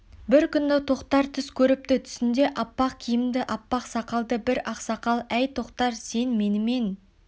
бір күні тоқтар түс көріпті түсінде аппақ киімді аппақ сақалды бір ақсақал әй тоқтар сен менімен